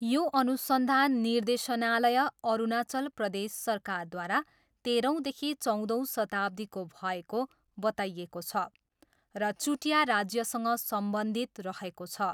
यो अनुसन्धान निर्देशनालय, अरुणाचल प्रदेश सरकारद्वारा तेह्रौँदेखि चौधौँ शताब्दीको भएको बताइएको छ र चुटिया राज्यसँग सम्बन्धित रहेको छ।